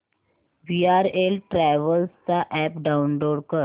VRL travels चा app download कर